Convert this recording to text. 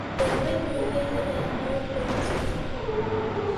Beeraleydu waxay helayaan awood badan suuqa.